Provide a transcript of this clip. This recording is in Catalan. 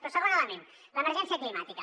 però segon element l’emergència climàtica